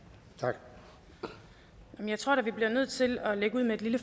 jeg vil